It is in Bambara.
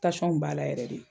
Tasɔn kun b'a la yɛrɛ de.